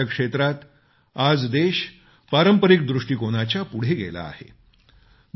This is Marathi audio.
आरोग्याच्या क्षेत्रात आज देश पारंपरिक दृष्टीकोनाच्या पुढे गेला आहे